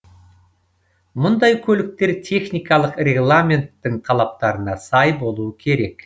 мұндай көліктер техникалық регламенттің талаптарына сай болуы керек